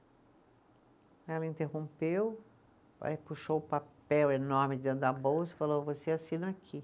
Ela interrompeu, aí puxou o papel enorme dentro da bolsa e falou, você assina aqui.